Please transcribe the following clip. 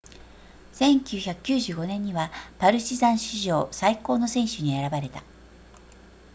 1995年にはパルチザン史上最高の選手に選ばれた